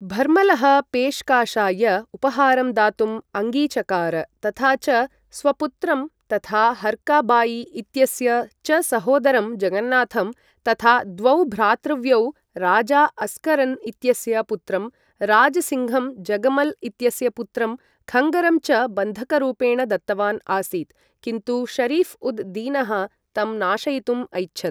भर्मलः पेश्काशाय उपहारं दातुं अङ्गीचकार तथा च स्वपुत्रं, तथा हर्का बाई इत्यस्य च सहोदरं जगन्नाथं, तथा द्वौ भ्रातृव्यौ, राजा अस्करन् इत्यस्य पुत्रं राज् सिङ्घं, जगमल् इत्यस्य पुत्रं खङ्गरं च बन्धकरूपेण दत्तवान् आसीत् किन्तु शरीफ् उद् दीनः तं नाशयितुम् ऐच्छत्।